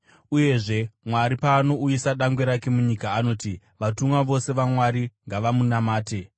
Uyezve, Mwari paanouyisa dangwe rake munyika, anoti: “Vatumwa vose vaMwari ngavamunamate.”